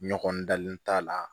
Ɲɔgɔn dalen t'a la